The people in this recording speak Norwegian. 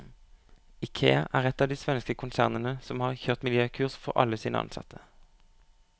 Ikea er ett av de svenske konsernene som har kjørt miljøkurs for alle sine ansatte.